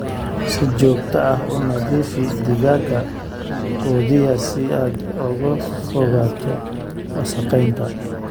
Si joogto ah u nadiifi digaagga quudiya si aad uga fogaato wasakhaynta.